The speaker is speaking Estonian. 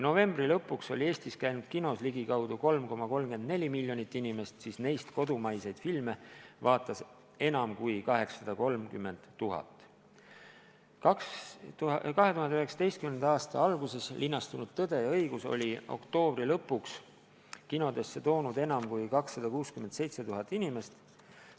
Novembri lõpuks oli Eestis registreeritud ligikaudu 3,34 miljonit kinokülastust, sh kodumaiste filmide vaatamisi enam kui 830 000. 2019. aasta alguses linastunud "Tõde ja õigus" oli oktoobri lõpuks kinodesse toonud enam kui 267 000 inimest.